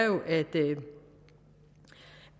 jo